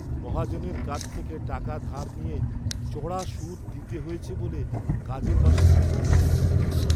মহাজনের কাছ থেকে টাকা ধার নিয়ে চড়া সুদ দিতে হয়েছে বলে কাজের মাসির খুব দুঃখ।